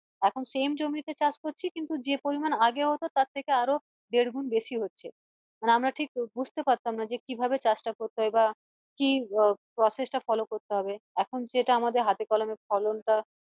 এখন same জমিতে চাষ করছি কিন্তু যে পরিমান আগে হতো তার থেকে আরো দেড় গুন্ বেশি হচ্ছে আহ আমরা ঠিক বুঝতে পারতাম না কিভাবে চাষ টা করতে হয় বা কি আহ process টা follow করতে হবে এখন সেটা আমাদের হাতে কলমে ফলন টা